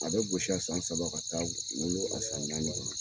A be gosi a san saba ka taa wolo a san naani